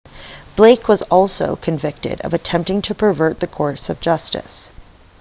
blake was also convicted of attempting to pervert the course of justice